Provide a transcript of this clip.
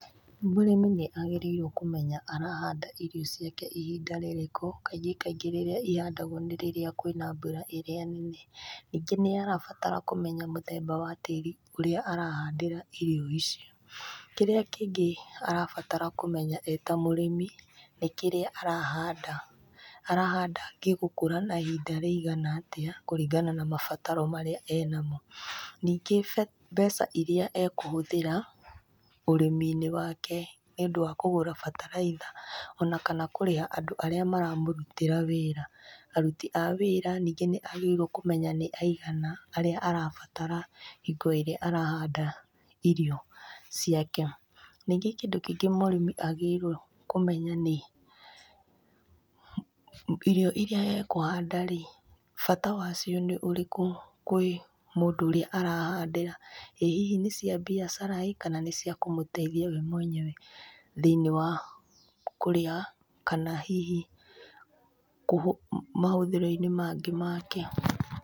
Mũrĩmi nĩ agĩrĩirwo kũmenya arahanda irio ciake ihinda rĩrĩkũ. Kaingĩ kaingĩ rĩrĩa ihandagwo nĩ rĩrĩa kũrĩ na mbura ĩrĩa nene. Ningĩ nĩarabatara kũmenya mũthemba wa tĩri ũrĩa arahandĩra irio icio. Kĩrĩa kĩngĩ arabatara kũmenya e ta mũrĩmi nĩ kĩrĩa arahanda, ahanda gĩgũkũra na ihinda rĩigana atĩa kũringana na mabataro marĩa arĩ namo. Ningĩ mbeca iria ekũhũthĩra ũrĩmi-inĩ wake nĩũndũ wa kũgũra bataraitha ona kana kũrĩha andũ arĩa maramũrutĩra wĩra. Aruti a wĩra ningĩ nĩagĩrĩirwo kũmenya nĩ aigana arĩa arabatara hingo ĩrĩa arahanda irio ciake. Ningĩ kĩndũ kĩngĩ mũrĩmi agĩrĩirwo kũmenya nĩ irio iria akũhandarĩ bata wacio nĩ ũrĩkũ kwĩ mũndũ ũrĩa arahandĩra. ĩ hihi nĩ cia biacara ĩ kana nĩciakũmũteithia we mwenyewe thĩinĩ wa kũrĩa kana hihi mahũthĩro-inĩ mangĩ make.